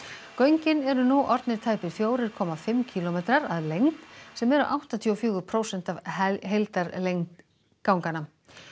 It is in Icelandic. göngin eru nú orðnir tæpir fjórir komma fimm kílómetrar að lengd sem eru áttatíu og fjögur prósent af heildarlengd ganganna